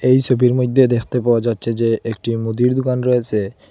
এই সবির মধ্যে দেখতে পাওয়া যাচ্ছে যে একটি মুদির দোকান রয়েসে।